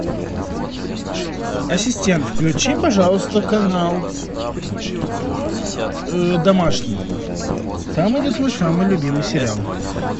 ассистент включи пожалуйста канал домашний там идет мой самый любимый сериал